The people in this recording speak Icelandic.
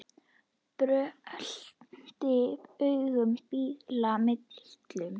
Brölti aum bíla millum.